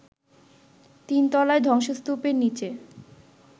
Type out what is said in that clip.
তিনতলায় ধ্বংসস্তূপের নিচে